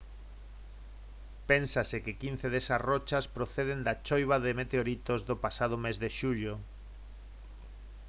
pénsase que quince desas rochas proceden da choiva de meteoritos do pasado mes de xullo